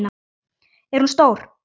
Er hún stór?